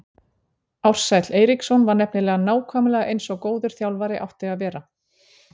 Ársæll Eiríksson var nefnilega nákvæmlega eins og góður þjálfari átti að vera.